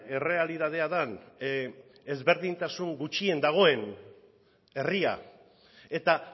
errealitatea den ezberdintasun gutxien dagoen herria eta